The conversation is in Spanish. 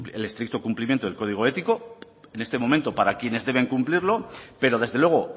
el estricto cumplimiento del código ético en este momento para quiénes deben cumplirlo pero desde luego